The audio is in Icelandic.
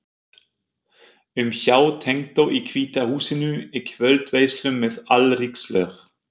um hjá tengdó í Hvíta húsinu, í kvöldveislum með alríkislög